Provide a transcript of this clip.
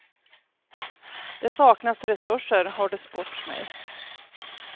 Det saknas resurser, har det sports mig.